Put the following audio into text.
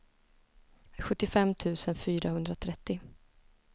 sjuttiofem tusen fyrahundratrettio